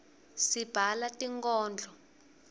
sibhala tinkodlo